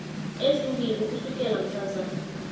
ezimbili ukusukela mhlazana